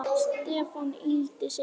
Stefán yggldi sig.